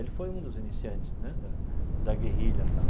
Ele foi um dos iniciantes, né, da da guerrilha e tal.